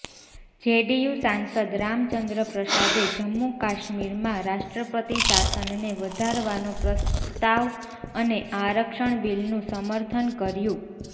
JDU સાંસદ રામચંદ્ર પ્રસાદે જમ્મુ કાશ્મીરમાં રાષ્ટ્રપતિ શાસનને વધારવાનો પ્રસ્તાવ અને આરક્ષણ બિલનું સમર્થન કર્યું